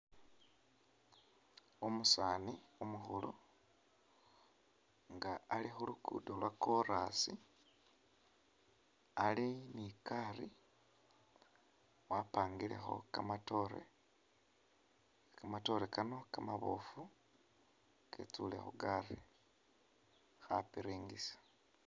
Umusaani umukhulu nga ali khuluguudo lwa korasi ali nigaali wapangilekho kamatoore , kamatoore kano Kamaboofu kitsule khugaali khapiringisa .